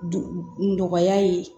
Du nɔgɔya ye